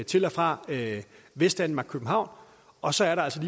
til og fra vestdanmark og københavn og så er der altså